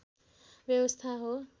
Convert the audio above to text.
व्यवस्था हो